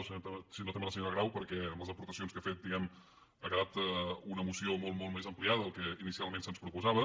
o sinó que també a la senyora grau perquè amb les aportacions que ha fet diguem ne ha quedat una moció molt molt més ampliada del que inicialment se’ns proposava